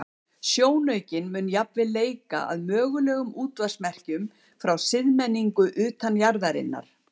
Sjónaukinn mun jafnvel leita að mögulegum útvarpsmerkjum frá siðmenningu utan jarðarinnar.